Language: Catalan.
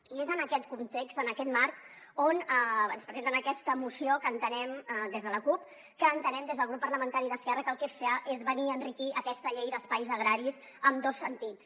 i és en aquest context en aquest marc on ens presenten aquesta moció des de la cup que entenem des del grup parlamentari d’esquerra que el que fa és venir a enriquir aquesta llei d’espais agraris en dos sentits